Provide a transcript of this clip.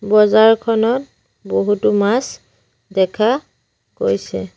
বজাৰখনত বহুতো মাছ দেখা গৈছে।